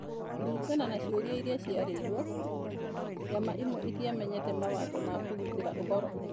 Kũringana na ciũria iria ciaririo, ciama imwe itiamenyete mawatho ma kũgitĩra ũhoro.